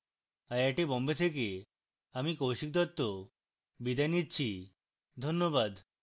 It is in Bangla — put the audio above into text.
আই আই টী বোম্বে থেকে আমি কৌশিক দত্ত বিদায় নিচ্ছি ধন্যবাদ